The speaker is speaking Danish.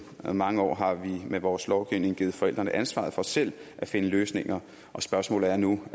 mange år har vi med vores lovgivning givet forældrene ansvaret for selv at finde løsninger og spørgsmålet er nu